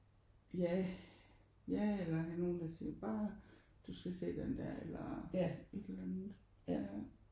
Ja. Ja eller der er nogen der siger: Du skal se den der. Eller et eller andet ja